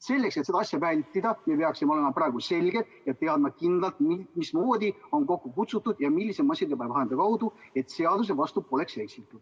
Selleks, et seda asja vältida, peaksime me praegu kindlalt teadma, mismoodi ja milliste massiteabevahendite kaudu on istung kokku kutsutud, et seaduse vastu poleks eksitud.